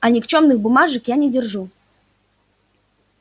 а никчёмных бумажек я не держу